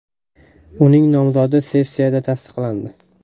Uning nomzodi sessiyada tasdiqlandi.